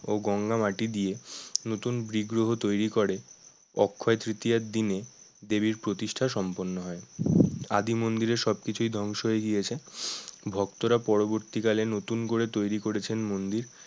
ও গঙ্গা মাটি দিয়ে নতুন বিগ্রহ তৈরি করে অক্ষয় তৃতীয়ার দিনে দেবীর প্রতিষ্ঠা সম্পন্ন হয় আদি মন্দিরে সবকিছুই ধ্বংস হয়ে গিয়েছে ভক্তরা পরবর্তীকালে নতুন করে তৈরি করেছেন মন্দির